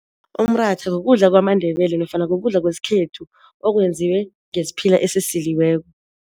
Umratha kukudla kwamaNdebele nofana kukudla kwesikhethu okwenziwe ngesiphila esisiliweko.